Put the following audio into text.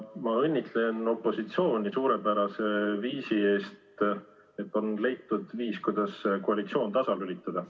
Ma õnnitlen opositsiooni suurepärase algatuse eest, et on leitud viis, kuidas koalitsioon tasalülitada.